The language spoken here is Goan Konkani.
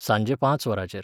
सांजे पांच वरांचेर